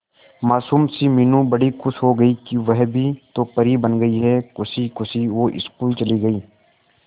मासूम सी मीनू बड़ी खुश हो गई कि वह भी तो परी बन गई है खुशी खुशी वो स्कूल चली गई